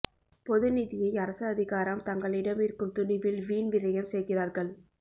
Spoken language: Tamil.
பொது நிதியை அரச அதிகாரம் தங்களிடம் இருக்கும் துணிவில் வீண் விரயம் செய்கிறார்கள்